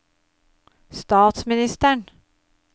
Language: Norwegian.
statsministeren